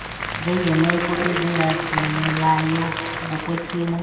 njengeemeko ezingangqinelayo ngokwesimo